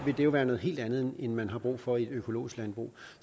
vil det være noget helt andet end man har brug for i et økologisk landbrug